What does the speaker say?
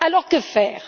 Alors, que faire?